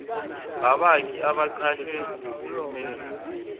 ngabakhi abaqashwe nguhulumeni